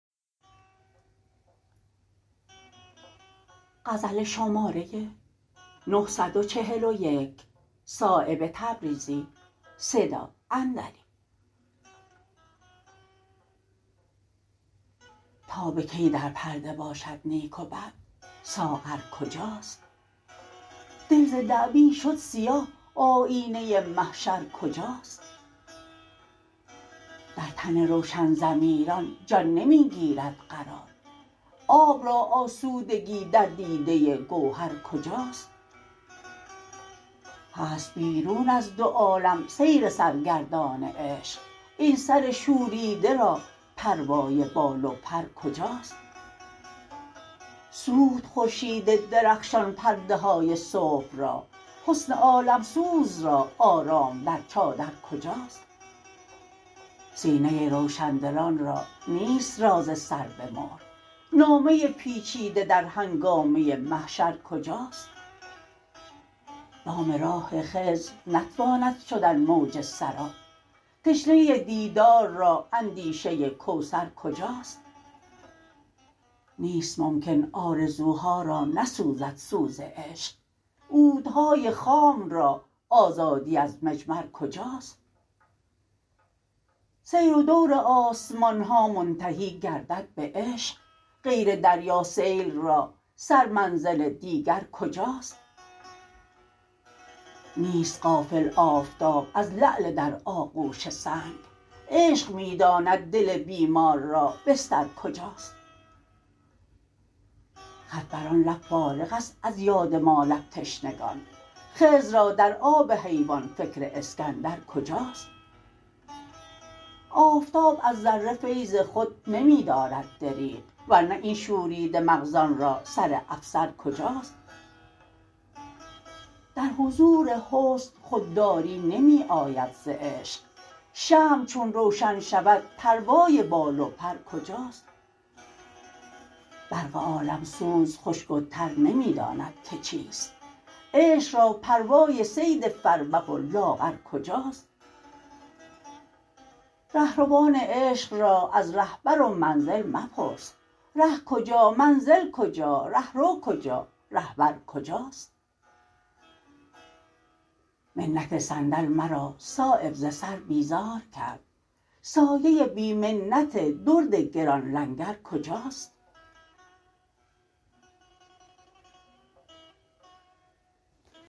تا به کی در پرده باشد نیک و بد ساغر کجاست دل ز دعوی شد سیاه آیینه محشر کجاست در تن روشن ضمیران جان نمی گیرد قرار آب را آسودگی در دیده گوهر کجاست هست بیرون از دو عالم سیر سرگردان عشق این سر شوریده را پروای بال و پر کجاست سوخت خورشید درخشان پرده های صبح را حسن عالمسوز را آرام در چادر کجاست سینه روشندلان را نیست راز سر به مهر نامه پیچیده در هنگامه محشر کجاست دام راه خضر نتواند شدن موج سراب تشنه دیدار را اندیشه کوثر کجاست نیست ممکن آرزوها را نسوزد سوز عشق عودهای خام را آزادی از مجمر کجاست سیر و دور آسمان ها منتهی گردد به عشق غیر دریا سیل را سر منزل دیگر کجاست نیست غافل آفتاب از لعل در آغوش سنگ عشق می داند دل بیمار را بستر کجاست خط بر آن لب فارغ است از یاد ما لب تشنگان خضر را در آب حیوان فکر اسکندر کجاست آفتاب از ذره فیض خود نمی دارد دریغ ورنه این شوریده مغزان را سر افسر کجاست در حضور حسن خودداری نمی آید ز عشق شمع چون روشن شود پروای بال و پر کجاست برق عالمسوز خشک و تر نمی داند که چیست عشق را پروای صید فربه و لاغر کجاست رهروان عشق را از رهبر و منزل مپرس ره کجا منزل کجا رهرو کجا رهبر کجاست منت صندل مرا صایب ز سر بیزار کرد سایه بی منت درد گران لنگر کجاست